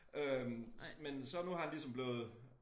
Øh men så nu har han ligesom blevet